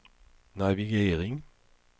navigering